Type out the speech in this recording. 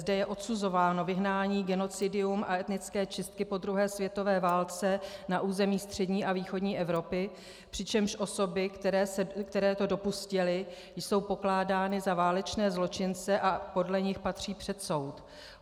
Zde je odsuzováno vyhnání, genocidium a etnické čistky po druhé světové válce na území střední a východní Evropy, přičemž osoby, které to dopustily, jsou pokládány za válečné zločince a podle nich patří před soud.